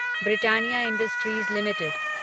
Britannia Industries limited